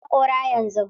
Je ka ka goge haƙora yanzu!